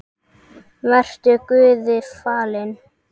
Vertu Guði falinn.